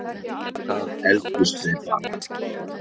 Við það efldust þeir bara.